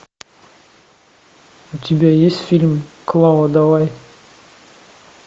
у тебя есть фильм клава давай